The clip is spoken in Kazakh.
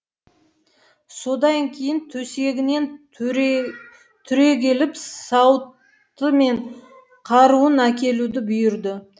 содан кейін төсегінен түрегеліп сауыты мен қаруын әкелуді бұйырды